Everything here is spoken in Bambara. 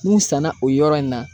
N'u sanna, o yɔrɔ in na